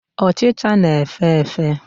Ochịcha na-efe efe.